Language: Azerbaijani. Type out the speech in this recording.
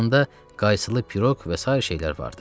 Yanında qaysılı piroq və sair şeylər vardı.